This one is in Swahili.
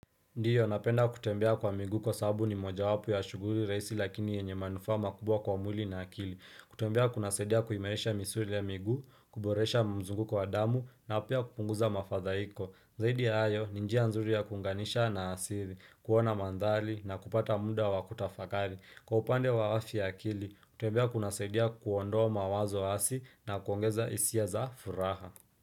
Ndiyo napenda kutembea kwa migu kwa sabu ni moja wapu ya shuguri reisi lakini yenye manufa makubwa kwa mwili na akili. Kutembea kuna saidia kuimelesha misuri ya migu, kuboresha mzunguko wa damu na pia kupunguza mafadhaiko. Zaidi ya ayo ni njia nzuri ya kuunganisha na asiri, kuona mandhali na kupata muda wa kutafakari. Kwa upande wa afya ya akili, kutembea kunasaidia kuondoa mawazo asi na kuongeza hisia za furaha.